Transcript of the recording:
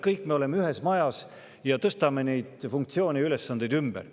Kõik me oleme ühes majas ja tõstame neid funktsioone ja ülesandeid ümber.